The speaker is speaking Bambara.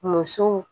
Musow